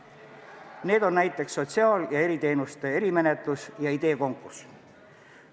Sellisteks hangeteks on näiteks sotsiaal- ja eriteenuste erimenetlus ja ideekonkurss.